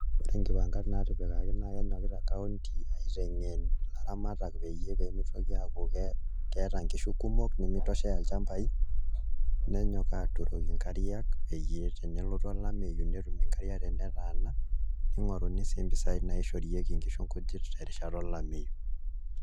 Ore nkipangat naatipikaki naa kenyokita kaunti aiteng'en ilaramatak peyie pee mitoki aaku keeta nkishu kumok nemitoshea ilchambai, nenyok aaturoki nkariak peyie tenelotu olameyu netum nkariak tenetaana ning'oruni sii mpisaai naishorieki nkishu nkujit tenkata olameyu.